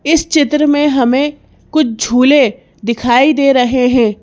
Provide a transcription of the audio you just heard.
इस चित्र में हमें कुछ झूले दिखाई दे रहे हैं।